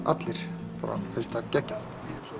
allir finnst þetta geggjað